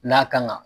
N'a kan ka